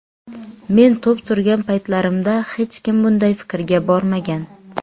Men to‘p surgan paytlarimda hech kim bunday fikrga bormagan.